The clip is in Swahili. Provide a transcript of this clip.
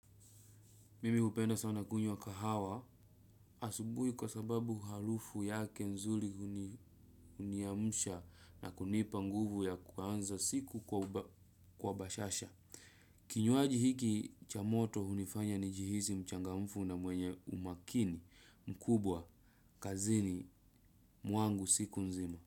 Mimi hupenda sana kunywa kahawa asubuhi kwa sababu harufu yake nzuli huniamsha na kunipa nguvu ya kuanza siku kwa bashasha. Kinywaji hiki cha moto hunifanya nijihisi mchangamfu na mwenye umakini mkubwa kazini mwangu siku nzima.